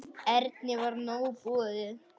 Erni var nóg boðið.